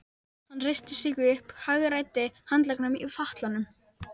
Hann reisti sig upp og hagræddi handleggnum í fatlanum.